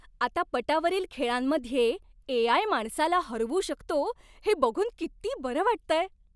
आता पटावरील खेळांमध्ये ए.आय. माणसाला हरवू शकतो हे बघून किती बरं वाटतंय.